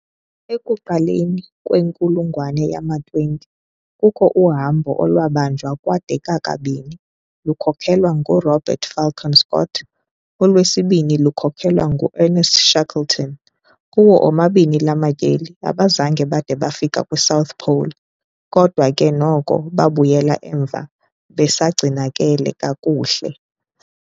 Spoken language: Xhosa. Ekuqaleni kwenkulungwane yama-20 kukho uhambo olwabanjwa kwade kwakabini , lukhokhelwa ngu Robert Falcon Scott, olwesibini lukhokhelwa ng u-Ernest Shackleton. Kuwo omabini lamatyeli abazange bade bafike kwi-'South Pole', kodwa ke noko babuyela emva besagcinakele kakuhle.